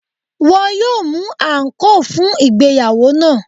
Wọ́n yóò mú àǹkóò fún ìgbéyàwó náà.